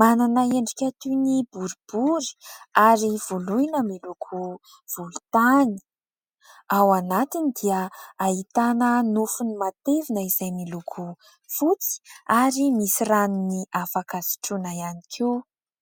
manana endrika toy ny boribory ary voloina miloko volontany, ao anatiny dia ahitana nofony matevina izay miloko fotsy ary misy ranony afaka sotroina ihany koa.